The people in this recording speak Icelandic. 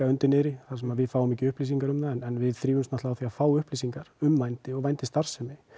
undir niðri þar sem við fáum ekki upplýsingar um það en við þrífumst á því að fá upplýsingar um vændi og vændisstarfsemi